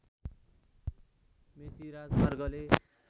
मेची राजमार्गले